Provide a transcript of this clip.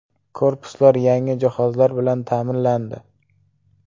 Korpuslar yangi jihozlar bilan ta’minlandi.